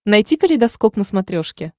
найти калейдоскоп на смотрешке